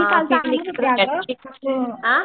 आनकी